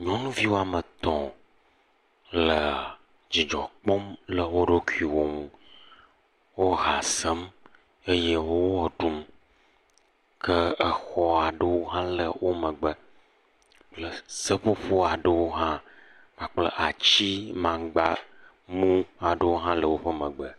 Nyɔnuviwo ame etɔ le dzidzɔ kpɔm le woɖokuiwo nu wo ha sem eye wɔɖum ke exɔ aɖewo le womegbe seƒoƒo aɖewo ha kpakple atimamgba aɖewo le womegbe